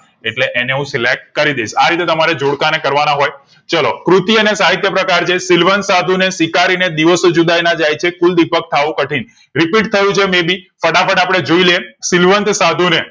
એટલે અને હું select કરીદાઇશ રીતે તમારે જોડ કે ને કર વા ના હોય ચાલો કૃતિઓ ને સાહિત્યકાર સિલવંત સાધુને, સ્વીકારીને, દિવસો જુદાઈ ના જાય છે, કુલદીપક થાવું કઠિન, repeat થયું છે may be ફાટફાટ અપડે જોઈએ લાયે સિલવંત સાધુ ને